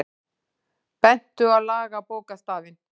Bentu á lagabókstafinn